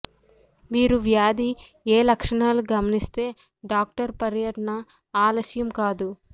మీరు వ్యాధి ఏ లక్షణాలు గమనిస్తే డాక్టర్ పర్యటన ఆలస్యం కాదు